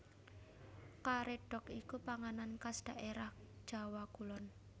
Karédhok iku panganan khas dhaérah Jawa Kulon